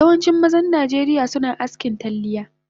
Yawancin mazan najeriya suna askin talliya